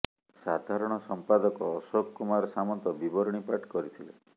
ସାଧାରଣ ସମ୍ପାଦକ ଅଶୋକ କୁମାର ସାମନ୍ତ ବିବରଣୀ ପାଠ କରିଥିଲେ